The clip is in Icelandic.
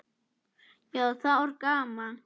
Já, það var gaman.